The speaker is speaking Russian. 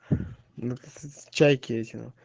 чайки эти на